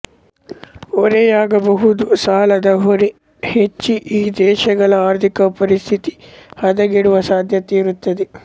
ಹೊರೆಯಾಗಬಹುದು ಸಾಲದ ಹೊರೆ ಹೆಚ್ಚಿ ಈ ದೇಶಗಳ ಆರ್ಥಿಕ ಪರಿಸ್ಥಿತಿ ಹದಗೆಡುವ ಸಾಧ್ಯತೆಯಿರುತ್ತದೆ